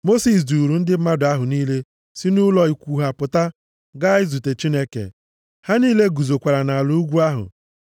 Mosis duuru ndị mmadụ ahụ niile si nʼụlọ ikwu ha pụta gaa izute Chineke. Ha niile guzokwara nʼala ugwu ahụ.